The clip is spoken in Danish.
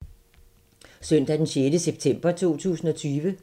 Søndag d. 6. september 2020